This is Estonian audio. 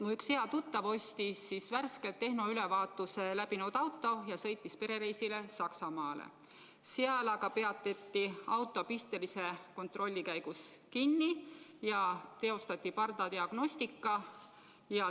Mul üks hea tuttav ostis värskelt tehnoülevaatuse läbinud auto ja sõitis perereisile Saksamaale, seal aga peatati auto pistelise kontrolli käigus kinni ja teostati pardadiagnostika.